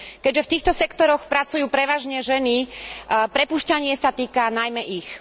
Keďže v týchto sektoroch pracujú prevažne ženy, prepúšťanie sa týka najmä ich.